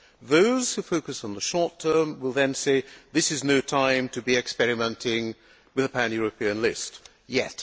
Those who focus on the short term will say that this is no time to be experimenting with a pan European list yet.